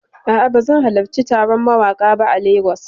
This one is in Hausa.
A'a, bazan halarci taron mawaƙa ba a Lagos.